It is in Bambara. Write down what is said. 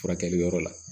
Furakɛli yɔrɔ la